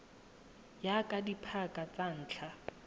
ya ka dipaka tsa ntlha